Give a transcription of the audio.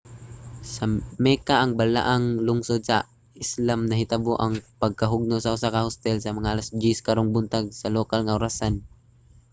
sa mecca ang balaang lungsod sa islam nahitabo ang pagkahugno sa usa ka hostel sa mga alas 10 karong buntag sa lokal nga orasan